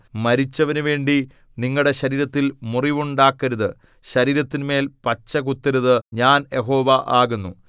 മരിച്ചവനുവേണ്ടി നിങ്ങളുടെ ശരീരത്തിൽ മുറിവുണ്ടാക്കരുത് ശരീരത്തിന്മേൽ പച്ചകുത്തരുത് ഞാൻ യഹോവ ആകുന്നു